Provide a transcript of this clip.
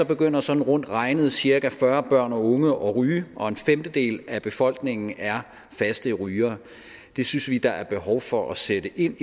begynder sådan rundt regnet cirka fyrre børn og unge at ryge og en femtedel af befolkningen er faste rygere det synes vi der er behov for at sætte ind